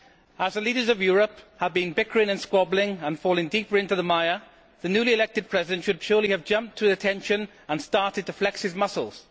As the leaders of Europe have been bickering and squabbling and falling deeper into the mire, the newly elected President should surely have jumped to attention and started to flex his muscles.